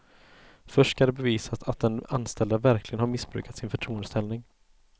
Först ska det bevisas att den anställda verkligen har missbrukat sin förtroendeställning.